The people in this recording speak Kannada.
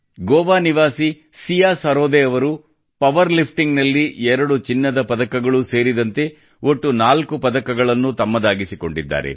ಗೋವಾ ನಿವಾಸಿ ಸಿಯಾ ಸರೋದೆ ಅವರು ಪವರ್ ಲಿಫ್ಟಿಂಗ್ ನಲ್ಲಿ 2 ಚಿನ್ನದ ಪದಕಗಳೂ ಸೇರಿದಂತೆ ಒಟ್ಟು ನಾಲ್ಕು ಪದಕಗಳನ್ನು ತಮ್ಮದಾಗಿಸಿಕೊಂಡಿದ್ದಾರೆ